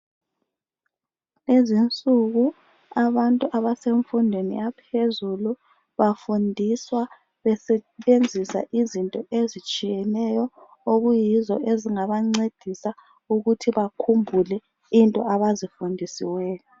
Kulezi insuku abantu abasemfundweni yaphezulu bafundiswa besebenzisa izinto ezitshiyeneyo. Eziyizo ezingabancedisa ukuthi bakhumbuke into abazifundisiweyo.